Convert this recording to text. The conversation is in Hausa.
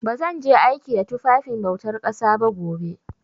Ba zan je aiki da tufafin bautar ƙasa ba gobe.